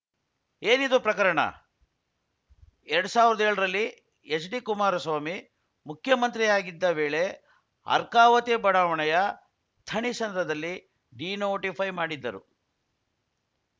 ಏನಿದು ಪ್ರಕರಣ ಎರಡ್ ಸಾವಿರದ ಏಳರಲ್ಲಿ ಎಚ್‌ಡಿಕುಮಾರಸ್ವಾಮಿ ಮುಖ್ಯಮಂತ್ರಿಯಾಗಿದ್ದ ವೇಳೆ ಅರ್ಕಾವತಿ ಬಡಾವಣೆಯ ಥಣಿಸಂದ್ರದಲ್ಲಿ ಡಿನೋಟಿಫೈ ಮಾಡಿದ್ದರು